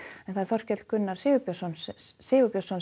Þorkell Gunnar Sigurbjörnsson Sigurbjörnsson